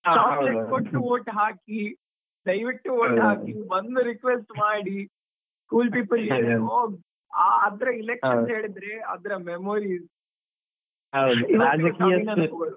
ಕೊಟ್ಟು vote ಹಾಕಿ vote ಹಾಕಿ ಬಂದು request ಮಾಡಿ, ಅದರ elections ಅದರ memories .